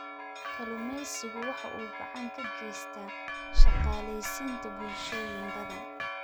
Kalluumaysigu waxa uu gacan ka geystaa shaqaaleysiinta bulshooyin badan.